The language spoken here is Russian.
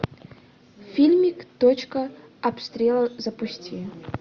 фильмик точка обстрела запусти